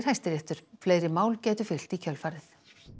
Hæstiréttur fleiri mál gætu fylgt í kjölfarið